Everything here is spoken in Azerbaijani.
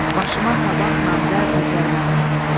Başıma tabaqla zər tökər mənim.